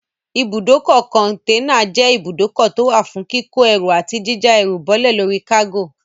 Ibùdókọ̀ kọ̀ǹtẹ́nà jẹ́ ibùdókọ̀ tó wà fún kíkó ẹrú àti jíjá ẹrù bọ́lè lórí kágò.